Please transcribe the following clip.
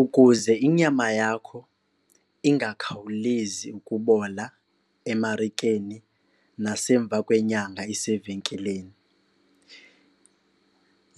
Ukuze inyama yakho ingakhawulezi ukubola emarikeni nasemva kwenyanga isevenkileni